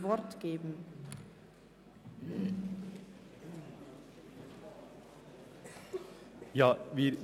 Im Voranschlag 2018 ist der Saldo der Produktgruppe 9.7.3 «Mittelschulen und Berufsbildung» um CHF 0,2 Millionen zu erhöhen.